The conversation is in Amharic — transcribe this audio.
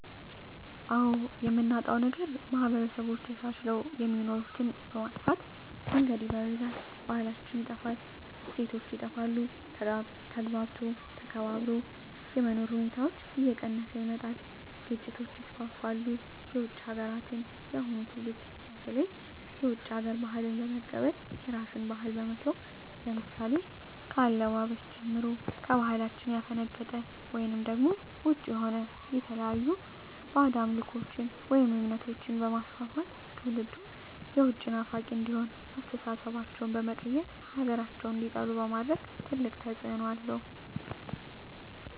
አዎ የምናጣዉ ነገር ማህበረሰቦች ተቻችለዉ የሚኖሩትን በመጥፋ መንገድ ይበርዛል ባህላችን ይጠፋል እሴቶች ይጠፋል ተግባብቶ ተከባብሮ የመኖር ሁኔታዎች እየቀነሰ ይመጣል ግጭቶች ይስፍፍሉ የዉጭ ሀገራትን የአሁኑ ትዉልድ በተለይ የዉጭ ሀገር ባህልን በመቀበል የራስን ባህል በመተዉ ለምሳሌ ከአለባበስጀምሮ ከባህላችን ያፈነቀጠ ወይም ዉጭ የሆነ የተለያዩ ባእጅ አምልኮችን ወይም እምነቶችንበማስፍፍት ትዉልዱም የዉጭ ናፋቂ እንዲሆን አስተሳሰባቸዉ በመቀየር ሀገራቸዉን እንዲጠሉ በማድረግ ትልቅ ተፅዕኖ አለዉ